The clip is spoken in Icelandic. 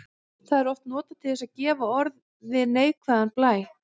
Það er oft notað til að gefa orði neikvæðan blæ.